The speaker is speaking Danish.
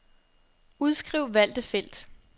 Udskriv valgte felt.